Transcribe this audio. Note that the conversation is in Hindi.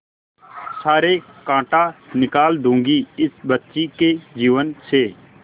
सारे कांटा निकाल दूंगी इस बच्ची के जीवन से